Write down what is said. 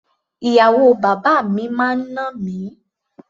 Ìyàwó bàbá mi máa ń nà mí.